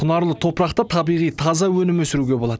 құнарлы топырақта табиғи таза өнім өсіруге болады